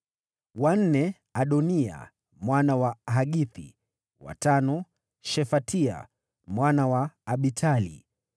wa nne, Adoniya mwana wa Hagithi; wa tano, Shefatia mwana wa Abitali;